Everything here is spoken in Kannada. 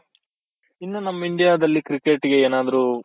ಇನ್ನೂ ನಮ್ India ದಲ್ಲಿ cricket ಗೆ ಏನಾದ್ರು